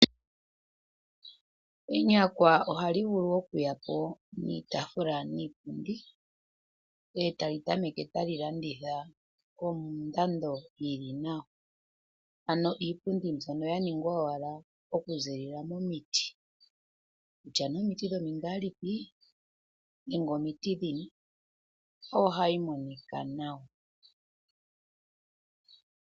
Enyakwa ohali vulu okuyapo niitafula niipundi etali tameke tali landitha kondando yili nawa ano iipundi mbyono yaningwa owala okuziilila momiti, kutya nee omiti dhomingaalipi nenge omiti dhilwe ohayi monika nawa.